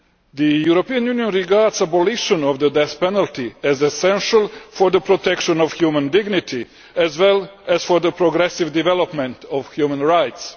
The European Union regards the abolition of the death penalty as essential for the protection of human dignity, as well as for the progressive development of human rights.